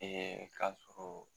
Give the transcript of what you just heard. Ee k'a sɔrɔ